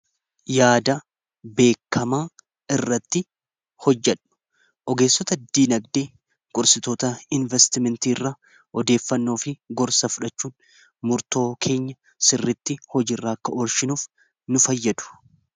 yaada beekamaa irratti hojjadhu ogeessota ddiinagdee gursitoota investimentii irra odeeffannoofi gorsa fudhachuun murtoo keenya sirritti hojiirra akka orshinuuf nu fayyadu